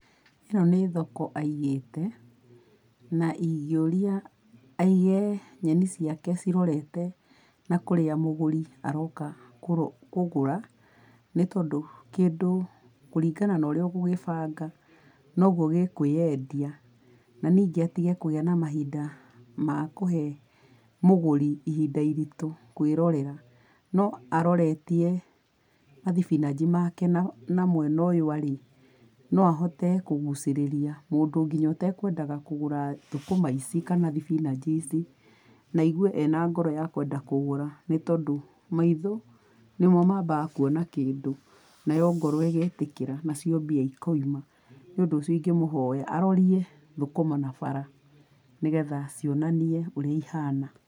Ĩno nĩ thoko aigĩte, na ingĩũria aige nyeni ciake cirorete na kũrĩa mũgũri aroka kũgũra. Nĩ tondũ kĩndũ kũringana na ũrĩa ũgũgĩbanga noguo gĩkwĩyendia. Na nĩngĩ atige kũgia na mahinda makũhe mũgũri ihinda iritũ kwĩrorera. No arotetie thibinanji make mwena ũyũ arĩ no ahote kũgũcĩrĩria mũndũ ngĩnya etekwendaga kũgũra thũkũma ici kana thibinanji ici. Na aigue ena ngoro yakũgũra tondũ maitho nĩmo mambaga kuona kĩndũ, nayo ngoro ĩgetĩkĩra, nacio mbia ikauma. Nĩ ũndũ ũcio ũngĩmũhoya arorie thũkũma o nabara nĩgetha cionanie ũrĩa ihana.